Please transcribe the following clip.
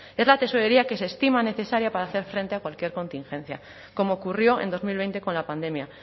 es la tesorería que se estima necesaria para hacer frente a cualquier contingencia como ocurrió en dos mil veinte con la pandemia